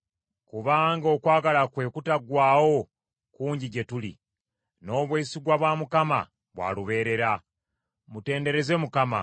Kubanga okwagala kwe okutaggwaawo kungi gye tuli; n’obwesigwa bwa Mukama bwa lubeerera. Mutendereze Mukama .